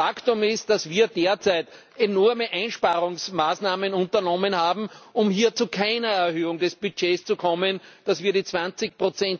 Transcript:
Faktum ist, dass wir derzeit enorme Einsparungsmaßnahmen unternommen haben, um hier zu keiner Erhöhung des Budgets zu kommen, dass wir die 20